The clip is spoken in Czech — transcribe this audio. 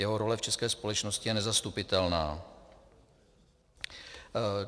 Jeho role v české společnosti je nezastupitelná.